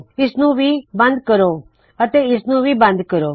ਇਸਨੂੰ ਵੀ ਬੰਦ ਕਰੋ ਅਤੇ ਇਸਨੂੰ ਵੀ ਬੰਦ ਕਰੋ